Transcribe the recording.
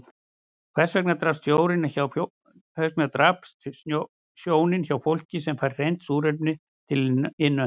Hvers vegna daprast sjónin hjá fólki sem fær hreint súrefni til innöndunar?